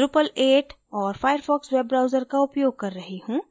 drupal 8 और firefox web browser का उपयोग कर रही हूँ